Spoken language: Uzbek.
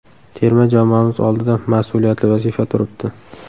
Terma jamoamiz oldida mas’uliyatli vazifa turibdi.